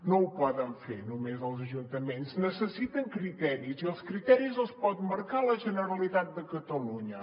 no ho poden fer només els ajuntaments necessiten criteris i els criteris els pot marcar la generalitat de catalunya